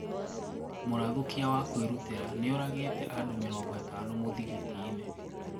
Murathũkia wa kũĩrûtĩra niũragite andũ mĩrongo ĩtano mũthigitiini.